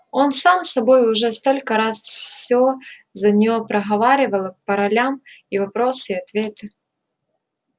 он сам с собой уже столько раз всё за неё проговаривал по ролям и вопросы и ответы